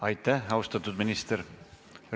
Aitäh, austatud minister!